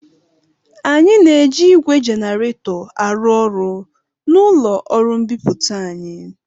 Anyị na-eji ígwè jenaretọ arụ ọrụ n'ụlọ ọrụ mbipụta anyị.